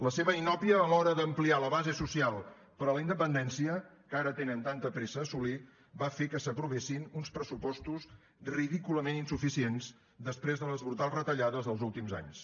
la seva inòpia a l’hora d’ampliar la base social per a la independència que ara tenen tanta pressa a assolir va fer que s’aprovessin uns pressupostos ridículament insuficients després de les brutals retallades dels últims anys